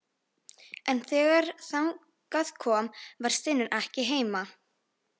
En þegar þangað kom var Steinunn ekki heima.